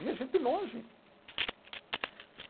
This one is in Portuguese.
Vinha gente de longe.